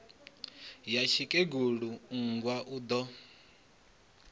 ya tsikegulu mmbwa u do